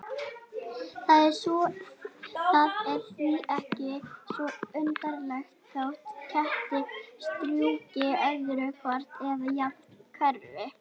Það er því ekki svo undarlegt þótt kettir strjúki öðru hvoru eða jafnvel hverfi.